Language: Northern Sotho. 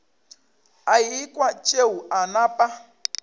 a ekwa tšeo a napa